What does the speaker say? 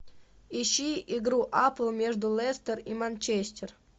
ищи игру апл между лестер и манчестер